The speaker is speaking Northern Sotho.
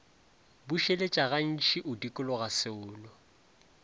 bušeletša gantši o dikologa seolo